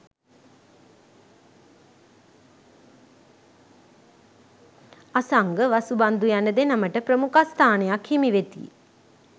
අසංග, වසුබන්ධු යන දෙනමට ප්‍රමුඛස්ථානයක් හිමි වෙති.